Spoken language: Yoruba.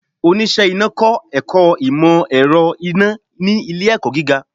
Oníṣe Iná kọ ẹkọ imọ-ẹrọ iná ni ile-ẹkọ giga.